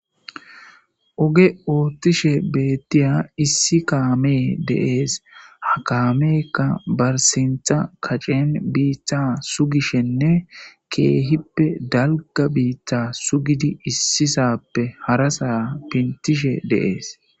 Oge oottishe beettiya issi kaamee deees ha kaameekka barsintha kaccen biitha sugishenne keehippe dalga biittha sugidi issisappe harasaa pintishe deees.